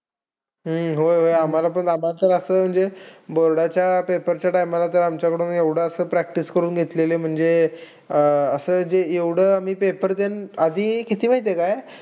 हम्म होय-होय आम्हाला पण असच जे board च्या paper च्या time ला आमच्यकडून एवढं असं practise करून घेतलेली. म्हणजे अह अं असं जे एवढं आम्ही ते paper देणं. आधी किती माहिती आहे काय?